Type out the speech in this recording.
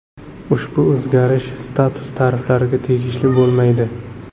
Ushbu o‘zgarish Status tariflariga tegishli bo‘lmaydi.